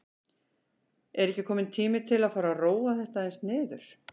Er ekki kominn tími til að fara að róa þetta aðeins niður?